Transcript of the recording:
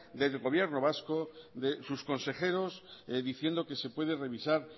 del gobierno vasco de sus consejeros diciendo que se puede revisar